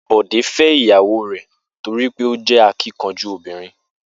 Bò̩dé fé̩ ìyàwó rè̩ torí pé ó jé̩ akínkanjú obìnrin